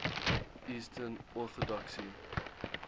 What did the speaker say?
eastern orthodoxy